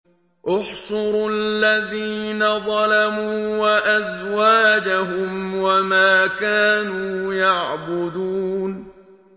۞ احْشُرُوا الَّذِينَ ظَلَمُوا وَأَزْوَاجَهُمْ وَمَا كَانُوا يَعْبُدُونَ